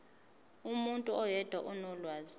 umuntu oyedwa onolwazi